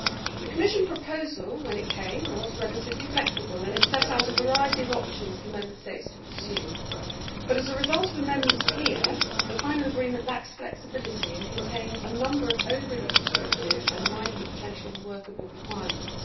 The Commission proposal, when it came, was relatively flexible and it set out a variety of options for Member States to pursue, but as a result of amendments here, the final agreement lacks flexibility and contains a number of overly prescriptive and, in my view, potentially unworkable requirements.